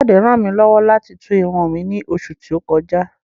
Káyọ̀dé ràn mí lọ́wọ́ láti tú irun mi ní oṣù tí ó kọjá